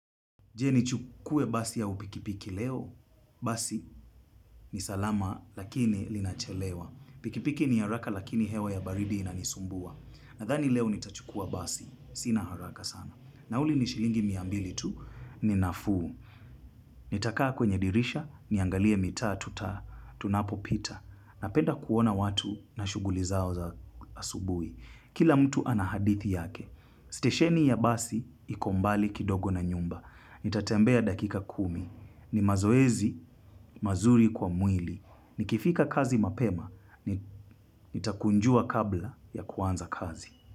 Je nichukue basi ya upikipiki leo, basi ni salama lakini linachelewa. Pikipiki ni haraka lakini hewa ya baridi inanisumbua. Nathani leo nitachukua basi, sina haraka sana. Nauli ni shilingi miambili tu, ni nafuu. Nitakaa kwenye dirisha, niangalie mitaa, tuta, tunapo pita. Napenda kuona watu na shuguli zao za asubui. Kila mtu ana hadithi yake. Stesheni ya basi iko mbali kidogo na nyumba. Nitatembea dakika kumi. Ni mazoezi, mazuri kwa mwili. Nikifika kazi mapema, nitakunjua kabla ya kuanza kazi.